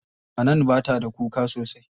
Hanan bata da kuka sosai.